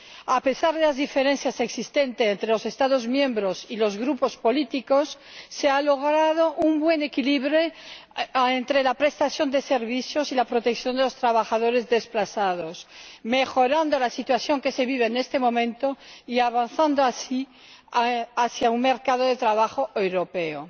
A pesar de las diferencias existentes entre los Estados miembros y los grupos políticos, se ha logrado un buen equilibrio entre la prestación de servicios y la protección de los trabajadores desplazados, mejorando la situación que se vive en este momento y avanzando, así, hacia un mercado de trabajo europeo.